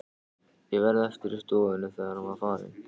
Ég varð eftir í stofunni, þegar hann var farinn.